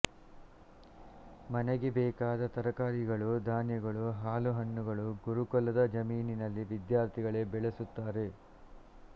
ಮನೆಗೆ ಬೇಕಾದ ತರಕಾರಿಗಳು ಧಾನ್ಯಗಳು ಹಾಲು ಹಣ್ಣುಗಳು ಗುರುಕುಲದ ಜಮೀನಿನಲ್ಲಿ ವಿದ್ಯಾರ್ಥಿಗಳೇ ಬೆಳೆಸುತ್ತಾರೆ